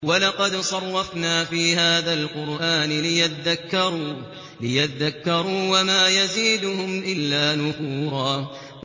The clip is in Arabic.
وَلَقَدْ صَرَّفْنَا فِي هَٰذَا الْقُرْآنِ لِيَذَّكَّرُوا وَمَا يَزِيدُهُمْ إِلَّا نُفُورًا